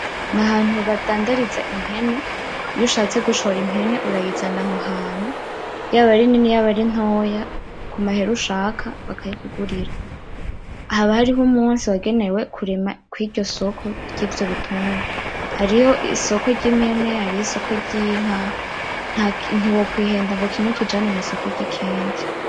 Nahantu badandariza impene. Iyo ushatse gushora impene urayizana aho hantu, yaba irini yaba intoya, ku mahera ushaka bakayikugurira. Haba hariho umunsi wagenewe kurema kuri iryo soko ry’ivyo bitungwa. Hariyo isoko ry'impene, hariyo isoko ry'inka. Ntiwokwihenda ngo kimwe ukijane mw'isoko ry'ikindi.